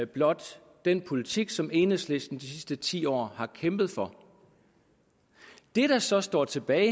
blot den politik som enhedslisten de sidste ti år har kæmpet for det der så står tilbage